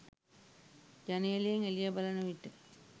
ජනේලයෙන් එළිය බලන විට